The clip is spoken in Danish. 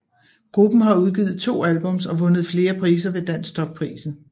Gruppen har udgivet to albums og vundet flere priser ved Dansktop Prisen